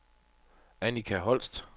Annika Holst